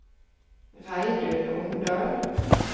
Reidun Omdal